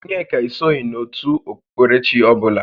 Onyeka esoghi n'ótù okpukpere chi ọbụla